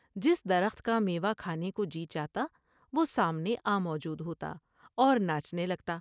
جس درخت کا میوہ کھانے کو جی چاہتا وہ سامنے آ موجود ہوتا اور ناچنے لگتا ۔